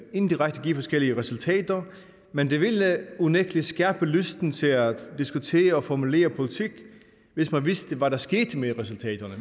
indirekte give forskellige resultater men det ville unægtelig skærpe lysten til at diskutere og formulere politik hvis man vidste hvad der skete med resultaterne